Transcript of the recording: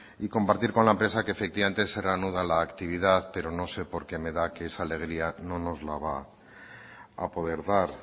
y compartir con la empresa que efectivamente se reanuda la actividad pero no sé porque me da que esa alegría no nos la va a poder dar